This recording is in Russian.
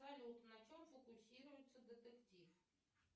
салют на чем фокусируется детектив